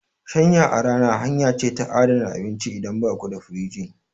Shanya a rana hanya ce ta adana abinci idan baku da firinji.